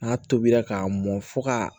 N'a tobira k'a mɔn fo ka